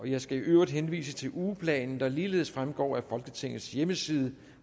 jeg skal i øvrigt henvise til ugeplanen der ligeledes fremgår af folketingets hjemmeside